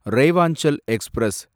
Rewanchal express